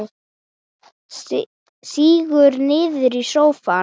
Sígur niður í sófann.